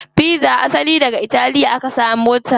Pizza asali daga italiya aka samo ta.